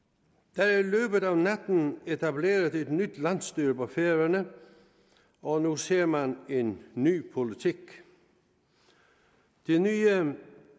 der er i løbet af natten etableret et nyt landsstyre på færøerne og nu ser man en ny politik det nye